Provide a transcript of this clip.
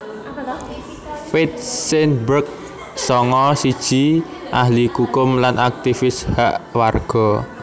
Faith Seidenberg sanga siji ahli kukum lan aktivis hak warga